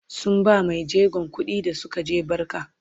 sun bawa maijegon kuɗi da Suka je barka